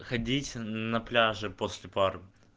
ходить на пляже после пар